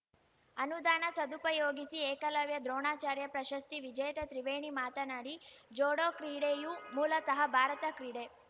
ಅನುದಾನ ಸದುಪಯೋಗಿಸಿ ಏಕಲವ್ಯ ದ್ರೋಣಾಚಾರ್ಯ ಪ್ರಶಸ್ತಿ ವಿಜೇತೆ ತ್ರಿವೇಣಿ ಮಾತನಾಡಿ ಜೋಡೋ ಕ್ರೀಡೆಯೂ ಮೂಲತಃ ಭಾರತ ಕ್ರೀಡೆ